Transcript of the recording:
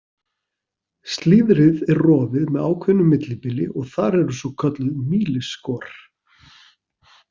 Slíðrið er rofið með ákveðnu millibili og þar eru svokölluð mýlisskor.